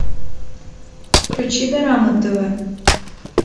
включи дорама тв